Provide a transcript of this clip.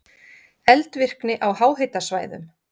Eldvirkni á háhitasvæðum